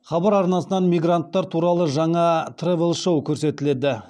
хабар арнасынан мигранттар туралы жаңа тревел шоу көрсетіледі